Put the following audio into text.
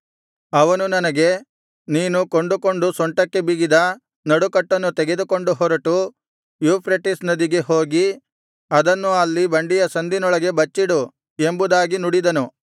ಅವನು ನನಗೆ ನೀನು ಕೊಂಡುಕೊಂಡು ಸೊಂಟಕ್ಕೆ ಬಿಗಿದ ನಡುಕಟ್ಟನ್ನು ತೆಗೆದುಕೊಂಡು ಹೊರಟು ಯೂಫ್ರೆಟಿಸ್ ನದಿಗೆ ಹೋಗಿ ಅದನ್ನು ಅಲ್ಲಿ ಬಂಡೆಯ ಸಂದಿನೊಳಗೆ ಬಚ್ಚಿಡು ಎಂಬುದಾಗಿ ನುಡಿದನು